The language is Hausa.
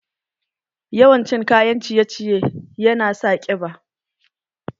Yawan cin kayan ciye ciye yana sa ƙiba